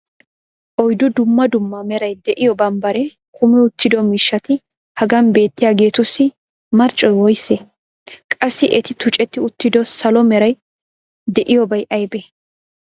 oyddu dumma dumma meray de'iyo bambbaree kummi uttido miishshati hagan beettiyaageetussi marccoy woysee? qassi eti tuccetti uttido salo meray de'iyobay aybee?